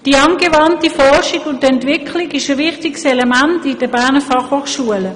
Die angewandte Forschung und Entwicklung ist ein wichtiges Element in der Berner Fachhochschule.